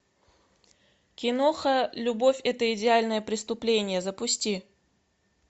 киноха любовь это идеальное преступление запусти